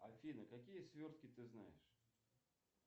афина какие свертки ты знаешь